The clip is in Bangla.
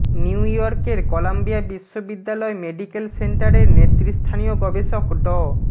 নিউ ইয়র্কের কলাম্বিয়া বিশ্ববিদ্যালয় মেডিকেল সেন্টারের নেতৃস্থানীয় গবেষক ড